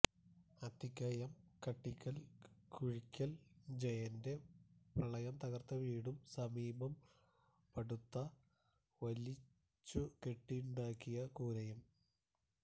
അത്തിക്കയം കട്ടിക്കല്ല് കുഴിക്കല് ജയന്റെ പ്രളയം തകര്ത്ത വീടും സമീപം പടുത വലിച്ചുകെട്ടിയുണ്ടാക്കിയ കൂരയും